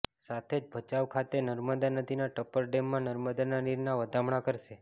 સાથે જ ભચાઉ ખાતે નર્મદા નદીના ટપર ડેમમાં નર્મદાના નીરના વધામણાં કરશે